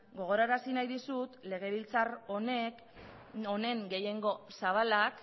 gogorazi nahi dizut legebiltzar honen gehiengo zabalak